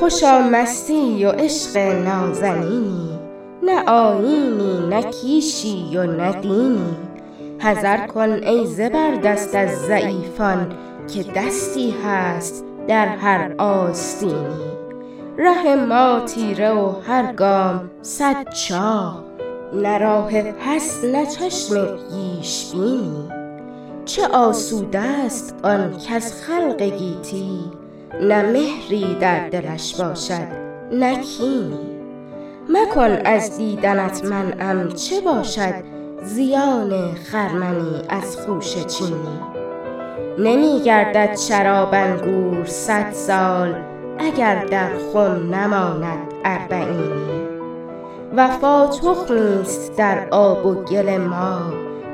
خوشا مستی و عشق نازنینی نه آیینی نه کیشی و نه دینی حذر کن ای زبردست از ضعیفان که دستی هست در هر آستینی ره ما تیره و هر گام صد چاه نه راه پس نه چشم پیش بینی چه آسوده است آن کز خلق گیتی نه مهری در دلش باشد نه کینی مکن از دیدنت منعم چه باشد زیان خرمنی از خوشه چینی نمیگردد شراب انگور صدسال اگر در خم نماند اربعینی وفا تخمیست در آب و گل ما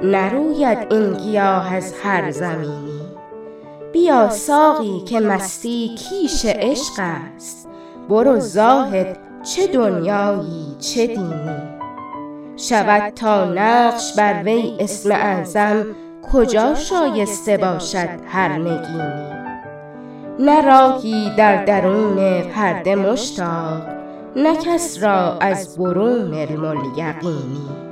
نروید این گیاه از هر زمینی بیاساقی که مستی کیش عشق است برو زاهد چه دنیایی چه دینی شود تا نقش بروی اسم اعظم کجا شایسته باشد هر نگینی نه راهی در درون پرده مشتاق نه کس را از برون علم الیقینی